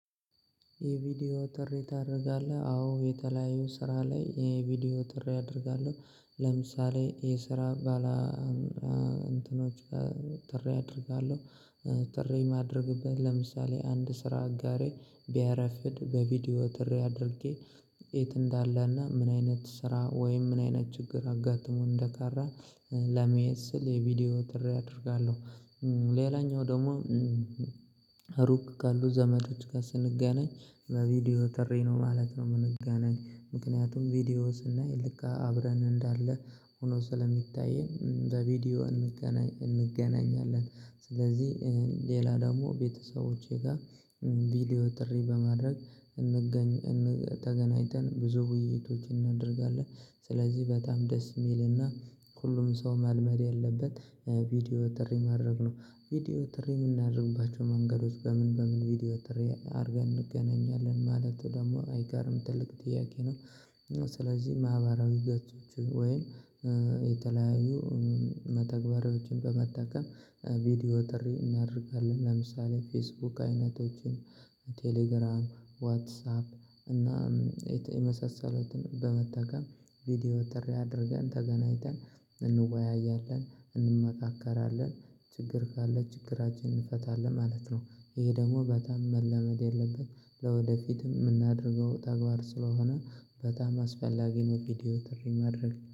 የቪዲዮ ጥሪ ታረጋለህ? አዎ የተለያዩ ስራ ላይ የቪዲዮ ጥሬ አደርጋለሁ ለምሳሌ የስራ ባላ እንትኖች ትሬ አደርጋለሁ ትሬ ማድርግበት ለምሳሌ አንድ ስራ አጋሬ ቢያረፍድ በቪዲዮ ትሬ አድርጌ የት እንዳሌና ምን አይነት ስራ ወይም ምን አይነት ችግር አጋጥሞ እንደቀረ ለመየት ስል የቪዲዮ ትሬ አደርጋለው። ሌላኛው ደግሞ ሩቅ ካሉ ዘመዶች ጋር ስንገናኝ በቪዲዮ ትሬ ነው ማለት ነው የምንገናኝ ምክንያቱም ቪዲዮ ስናይ ልክ አብረን እንዳሌ ሆኖ ስለሚታየን በቪዲዮ እንገናኛለን ስለዚህ ሌላ ደግሞ ቤተሰቦቼ ጋ ቪዲዮ ጥሪ በማድረግ እንገኝ እንገኝ ተገናኝተን ብዙ ውይይቶች እናደርጋለን። ስለዚህ በጣም ደስ የሚልና ሁሉም ሰው መልመድ ያለበት ቪዲዮ ትሬ የማድረግ ነው ቪዲዮ ትሬ የምናደርግባቸው መንገዶች በምን በምን ቪዲዮ ትሬ አርገን እንገናኛለን ማለት ደግሞ አይቀርም ትልቅ ጥያቄ ነው። ስለዚህ ማህበራዊ ገጾች ወይም የተለያዩ መተግበሪያዎችን በመጠቀም ቪዲዮ ጥሪ እናደርጋለን ለምሳሌ ፌስቡክ አይነቶችን ቴሌግራም ዋትሳፕ እና የተ የመሳሰሉትን በመጠቀም ቪዲዮ ትሬ አድርገን ተገናኝተን እንወያያለን እንመካከራለን ችግር ካለ ችግራችንን እንፈታለን ማለት ነው። ይሄ ደግሞ በጣም መለመድ ያለብን ለወደፊትም የምናደርገው ተግባር ስለሆነ በጣም አስፈላጊ ነው ቪዲዮ ትሬ ማድረግ